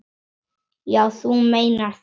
Já, þú meinar það.